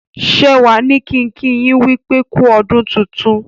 Shewa ní kín kí yin wípé ku ọdún tintun.